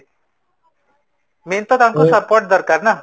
main ତ ତାଙ୍କୁ support ଦରକାର ନା,